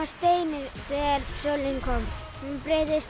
steini þegar sólin kom hún breytist